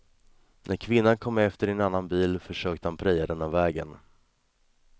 När kvinnan kom efter i en annan bil, försökte han preja den av vägen.